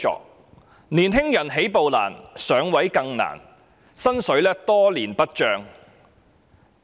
青年人起步難，"上位"更難，他們的薪金多年不漲。